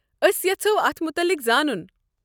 أسۍ یژھو اتھ متعلق زانُن۔